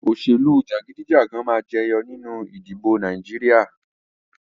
Òṣèlú jagidijagan máa jẹyọ nínú ìdìbò Nàìjíríà